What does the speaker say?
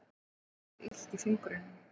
Henni verður illt í fingrunum.